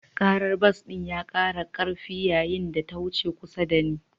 Karar bas ɗin ya kara karfi yayin da ta wuce kusa da ni.